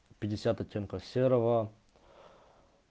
пятьдесят оттенков серого